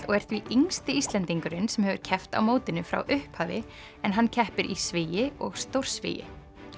og er því yngsti Íslendingurinn sem hefur keppt á mótinu frá upphafi en hann keppir í svigi og stórsvigi